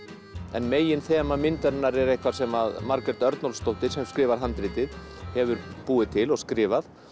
en meginþema myndarinnar er eitthvað sem Margrét Örnólfsdóttir sem skrifar handritið hefur búið til og skrifað